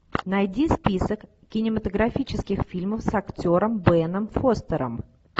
найди список кинематографических фильмов с актером беном фостером